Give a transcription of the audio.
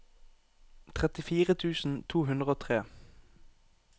trettifire tusen to hundre og tre